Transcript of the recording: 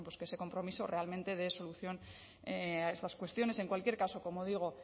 que ese compromiso realmente dé solución a estas cuestiones en cualquier caso como digo